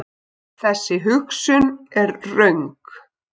Þessi hugsun er röng.